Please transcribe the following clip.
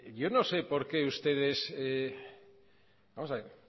yo no sé por qué ustedes vamos a ver